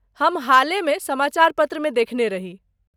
हम हालेमे समाचार पत्रमे देखने रही।